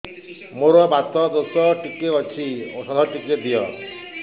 ମୋର୍ ବାତ ଦୋଷ ଟିକେ ଅଛି ଔଷଧ ଟିକେ ଦିଅ